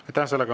Aitäh!